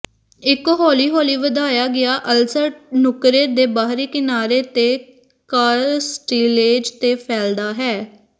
ਇੱਕ ਹੌਲੀ ਹੌਲੀ ਵਧਾਇਆ ਗਿਆ ਅਲਸਰ ਨੁੱਕਰੇ ਦੇ ਬਾਹਰੀ ਕਿਨਾਰੇ ਤੇ ਕਾਸਟਿਲੇਜ ਤੇ ਫੈਲਦਾ ਹੈ